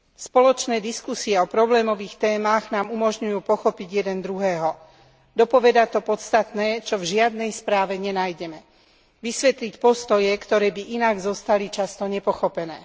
Spoločné diskusie o problémových témach nám umožňujú pochopiť jeden druhého, dopovedať to podstatné, čo v žiadnej správe nenájdeme, vysvetliť postoje, ktoré by inak zostali často nepochopené.